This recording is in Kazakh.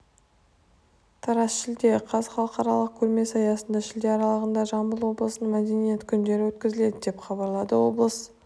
тараз шілде қаз халықаралық көрмесі аясында шілде аралығында жамбыл облысының мәдениет күндері өткізіледі деп хабарлады облыс